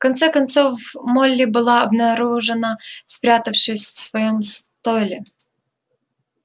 в конце концов молли была обнаружена спрятавшейся в своём стойле